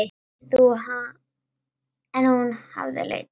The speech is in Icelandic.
En hún hafði leitað annað.